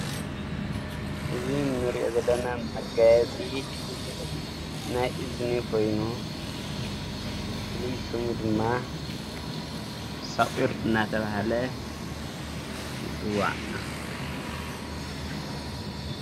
እዝ ንርእዮ ዘለና መጋያፂ ናይ እዝኒ ኮይኑ ፍልይ ስሙ ድማ ሳቝር እናተብሃለ ይፅዋዕ።